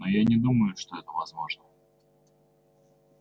но я не думаю что это возможно